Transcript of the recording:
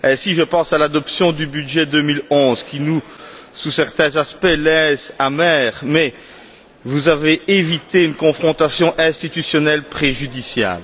Je pense à l'adoption du budget 2011 qui, sous certains aspects, nous laisse amers, mais vous avez évité une confrontation institutionnelle préjudiciable.